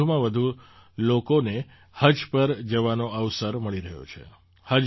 હવે વધુમાં વધુ લોકોને હજ પર જવાનો અવસર મળી રહ્યો છે